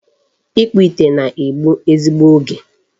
Ịkpụ ite na-egbu ezigbo oge.